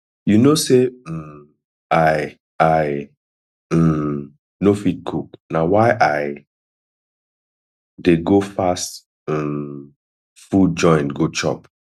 you no say um i i um no fit cook na why i dey go fast um food joint go chop